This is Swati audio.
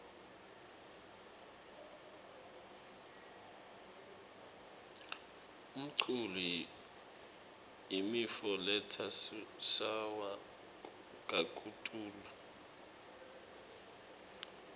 umcul yimifo letsa suwa kakitulu